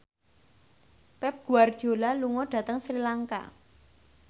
Pep Guardiola lunga dhateng Sri Lanka